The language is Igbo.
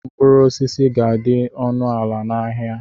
Mkpụrụ osisi ga-adị ọnụ ala n'ahịa.